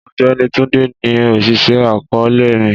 Ọgbẹni Tunde ni oṣiṣẹ akọọlẹ mi.